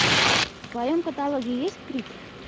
в твоем каталоге есть крик